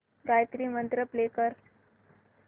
गायत्री मंत्र प्ले कर